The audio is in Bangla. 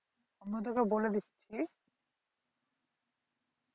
আমিও তোকে বলে দিচ্ছি